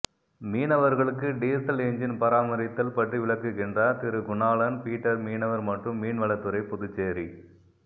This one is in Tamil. மீனவர்களுக்கு டீசல் எஞ்சின் பராமரித்தல் பற்றி விளக்குகின்றார் திரு குணாளன் பிட்டர் மீனவர் மற்றும் மீன்வளத்துறை புதுச்சேரி